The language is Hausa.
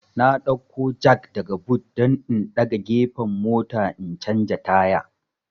N dauko jak daga but don in daga gefen mota in canja taya